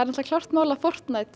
klárt mál að